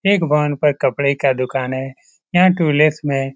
एक भवन पर कपड़े का दुकान है यहाँ टूलेट्स में--